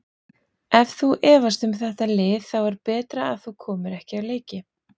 Ef þú efast um þetta lið þá er betra að þú komir ekki á leiki.